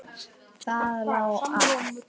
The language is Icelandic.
Það lá að.